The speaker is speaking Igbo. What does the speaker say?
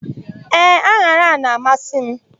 Ee, an̄ara na-amasị mụ.